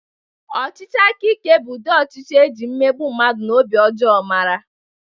Ọchịchị aka ike bụ ụdị ọchịchị e ji mmegbu mmadụ na obi ọjọọ mara.